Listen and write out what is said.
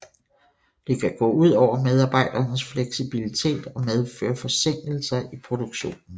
Det kan gå ud over medarbejdernes fleksibilitet og medføre forsinkelser i produktionen